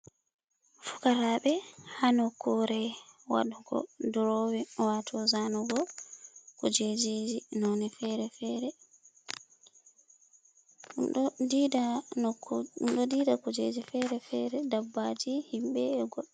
Fukarabe ha nokkure waɗugo durowein wato zanugo kujejji noni fere-fere. Ɗum ɗo dida nokku, ɗum ɗo didi kujeji fere-fere, dabbaji, himɓe e goɗ.